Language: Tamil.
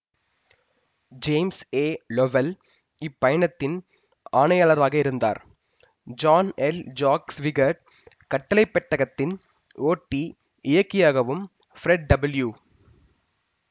ஜேம்ஸ் ஏ லொவெல் இப்பயணத்தின் ஆணையாளராயிருந்தார் ஜான் எல் ஜாக் ஸ்விகர்ட் கட்டளை பெட்டகத்தின் ஓட்டிஇயக்கியாகவும் ஃப்ரெட் டபிள்யூ